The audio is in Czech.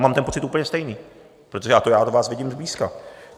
Mám ten pocit úplně stejný, protože já do vás vidím zblízka.